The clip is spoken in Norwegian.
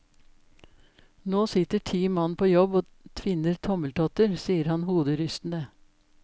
Nå sitter ti mann på jobb og tvinner tommeltotter, sier han hoderystende.